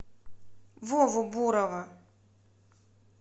вову бурова